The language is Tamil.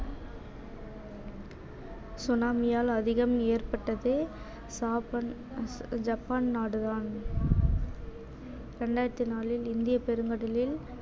tsunami யால் அதிகம் ஏற்பட்டது ஜபன்~ ஜப்பான் நாடுதான் இரண்டாயிரத்தி நாலில் இந்தியப் பெருங்கடலில்